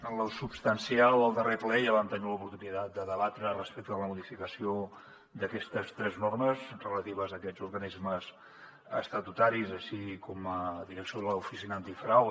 en lo substancial al darrer ple ja vam tenir l’oportunitat de debatre respecte a la modificació d’aquestes tres normes relatives a aquests organismes estatutaris així com de la direcció de l’oficina antifrau